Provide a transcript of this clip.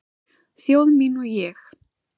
Þjóð mín og ég